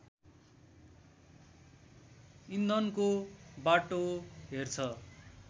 इन्धनको बाटो हेर्छ